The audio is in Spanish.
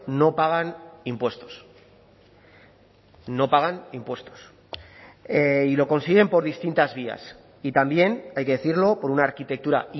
no pagan impuestos no pagan impuestos y lo consiguen por distintas vías y también hay que decirlo por una arquitectura